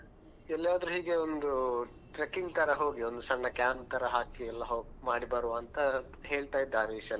ಎಲ್ಲಿಯಾದ್ರೂ ಹೀಗೆ ಒಂದು trekking ತರ ಹೋಗಿ ಒಂದ್ ಸಣ್ಣ camp ತರ ಹಾಕಿಯೆಲ್ಲಾ ಮಾಡಿ ಬರುವ ಅಂತ ಹೇಳ್ತಾ ಇದ್ದಾ ಹರೀಶ್ ಎಲ್ಲಾ.